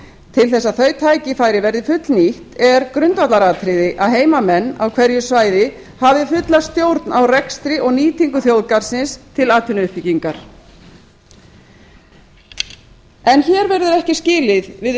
til þess að þau tækifæri verði fullnýtt er grundvallaratriði að heimamenn á hverju svæði hafi fulla stjórn á rekstri og nýtingu þjóðgarðsins til atvinnuuppbyggingar hér verður ekki skilið við